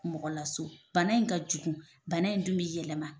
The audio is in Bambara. Mɔgɔ laso bana in ka jugu, bana in dun bi yɛlɛma.